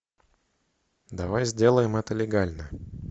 давай сделаем это легально